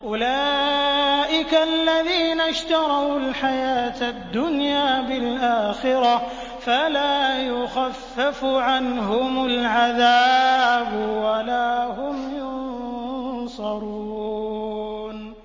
أُولَٰئِكَ الَّذِينَ اشْتَرَوُا الْحَيَاةَ الدُّنْيَا بِالْآخِرَةِ ۖ فَلَا يُخَفَّفُ عَنْهُمُ الْعَذَابُ وَلَا هُمْ يُنصَرُونَ